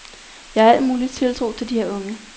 Jeg har al mulig tiltro til de her unge.